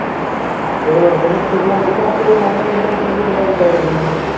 जय वर्धन आहे श्रीलंकेचा तो ही मुंबई इंडियन्समध्ये कसा जय वर्धन आहे